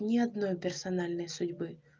ни одной персональной судьбы